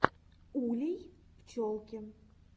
улей пчелки